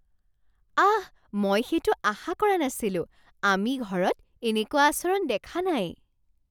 আঃ, মই সেইটো আশা কৰা নাছিলোঁ। আমি ঘৰত এনেকুৱা আচৰণ দেখা নাই।